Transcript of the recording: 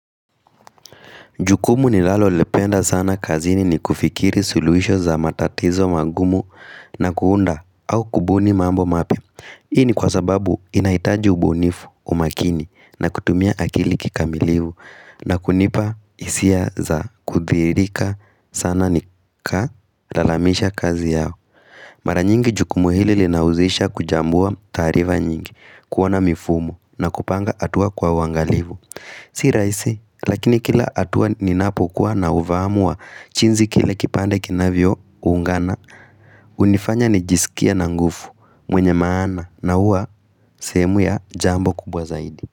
Jukumu ninalalo lipenda sana kazini ni kufikiri suluhisho za matatizo magumu na kuunda au kubuni mambo mapya. Hii ni kwa sababu inahitaji ubunifu umakini na kutumia akili kikamilivu na kunipa hisia za kuthiirika sana nika lalamisha kazi yao. Mara nyingi jukumu hili linauzisha kuchambua taarifa nyingi, kuwa na mifumo na kupanga hatua kwa uangalivu. Si rahisi, lakini kila hatua ninapokuwa na ufaamu wa jinsi kile kipande kinavyo ungana unifanya nijisikie na nguvu, mwenye maana na uwa sehemu ya jambo kubwa zaidi.